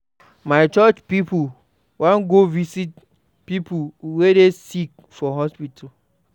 My church pipo wan go visit pipo wey dey sick for hospital.